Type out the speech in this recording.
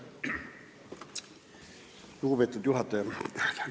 Lugupeetud juhataja!